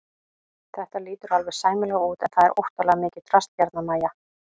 Þetta lítur alveg sæmilega út en það er óttalega mikið drasl hérna MÆJA!